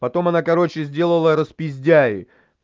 потом она короче сделала распиздяй